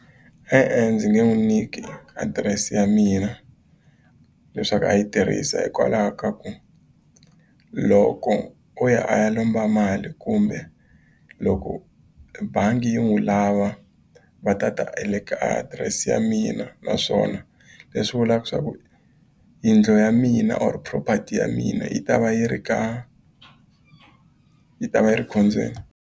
E-e ndzi nge n'wi nyiki adirese ya mina leswaku a yi tirhisa hikwalaho ka ku loko o ya a ya lomba mali kumbe loko bangi yi n'wi n'wi lava va ta ta le ka adirese ya mina naswona leswi vulaka leswaku yindlu ya mina or property ya mina yi ta va yi ri ka yi ta va yi ri ekhombyeni.